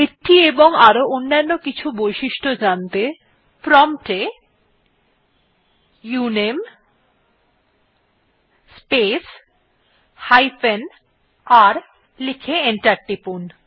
এটি এবং আরো অনেক অন্যান্য বৈশিষ্ট্য জানতে প্রম্পট এ উনামে স্পেস হাইফেন r লিখে এন্টার টিপুন